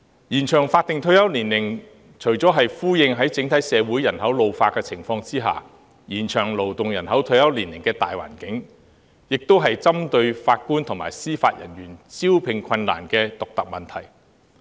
延長法定退休年齡，除了是回應在整體社會人口老化的情況下延長勞動人口退休年齡的大環境外，亦是針對法官及司法人員招聘困難的獨特問題。